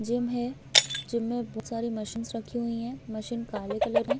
Gym है gym में बहुत सारी मशीनस रखी हुई है मशीन काले कलर है।